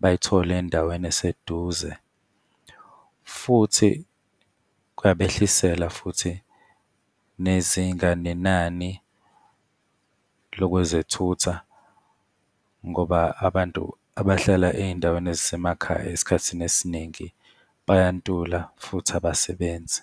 bayithole endaweni eseduze. Futhi kuyabehlisela futhi nezinga, nenani lokwezothutha ngoba abantu abahlala ey'ndaweni ezisemakhaya esikhathini esiningi bayantula futhi abasebenzi.